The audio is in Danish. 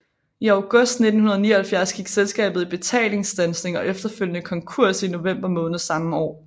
I august 1979 gik selskabet i betalingsstandsning og efterfølgende konkurs i november måned samme år